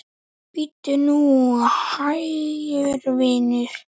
Bíddu nú hægur, vinur.